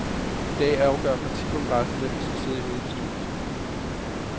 I dag afgør partikongressen, hvem der skal sidde i hovedbestyrelsen.